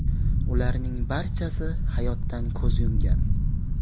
Ularning barchasi hayotdan ko‘z yumgan.